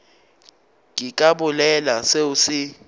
ke ka bolela seo se